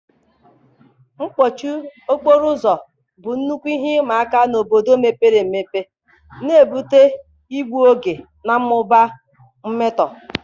mkpọchi okporo ụzọ bụ nnukwu ihe ịma aka n'obodo mepere emepe, na-ebute igbu oge na mmụba mmetọ.